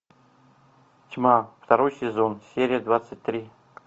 тьма второй сезон серия двадцать три